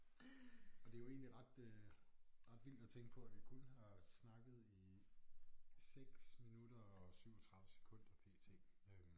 Og det jo egentlig ret øh ret vildt at tænke på at vi kun har snakket i 6 minutter og 37 sekunder p.t. øh